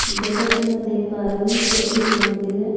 जैसा की मैं देख पा रही हूँ यह एक मंदिर है।